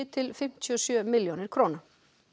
til fimmtíu og sjö milljónir króna